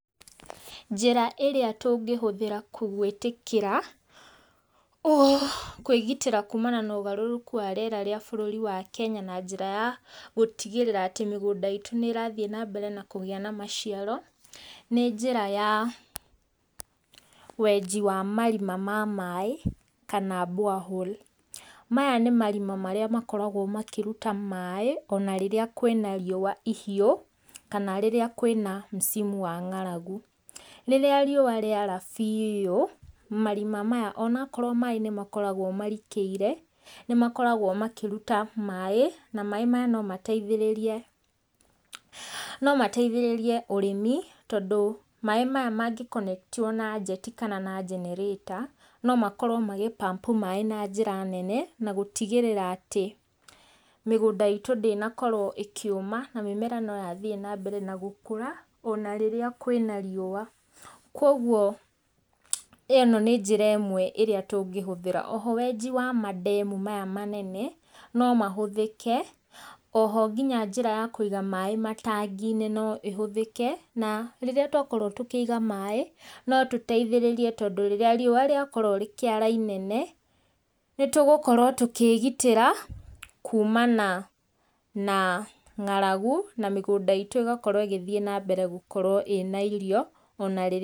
Njĩra ĩrĩa tũngĩhũthĩra gwĩtĩkĩra, kwĩgitĩra kuumana na ũgarũrũku wa rĩera wa Kenya na njĩra ya gũtigĩrĩra atĩ mĩgũnda itũ nĩ ĩrathiĩ nambere na kũgĩa na maciaro, nĩ njĩra ya wenji wa marima ma maaĩ, kana borehole. Maya nĩ marima marĩa makoragwo makĩruta maaĩ, ona rĩrĩa kwĩna riũwa rĩhiũ, kana rĩrĩa kwĩna msimu wa ng'aragu. Rĩrĩa riũwa rĩara biiũ, na marima maya onakorwo maaĩ nĩ makoragwo marikĩire, nĩmakoragwo makĩruta maaĩ, na maaĩ maya nomateithĩrĩrie, nomateithĩrĩrie ũrĩmi, tondũ maaĩ, maya mangĩ connect wo na njeti kana na generator, nomakorwo magĩ pump maaĩ na njĩra nene, na gũtigĩrĩra atĩ, mũgũnda itũ ndĩnakorwo ĩkĩũma, na mĩmera nĩyakorwo ĩgĩthiĩ nambere gũkũra, ona rĩrĩa kwĩna riũwa. Koguo ĩno nĩ njĩra ĩmwe tũngĩhũthĩra. Oho wenji wa mandemu maya manene, nomahũthĩke, oho ngĩna njĩra ya kũiga maaĩ matangi-inĩ, noĩhũthĩke, na rĩrĩa twakorwo tũkĩiga maaĩ, notũtethĩrĩrie tondũ ona rĩrĩa rĩakorwo rĩkĩara inene, nĩtũgũkorwo tũkĩgitĩra kuumana na ng'aragu, na mĩgũnda itũ ĩgakorwo ĩgĩthiĩ nambere na kũgĩa irio, ona rĩrĩa